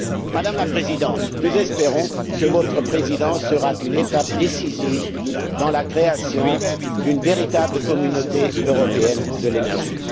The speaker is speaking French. Madame la Présidente, nous espérons que votre Présidence sera une étape décisive dans la création d'une véritable communauté européenne de l'énergie.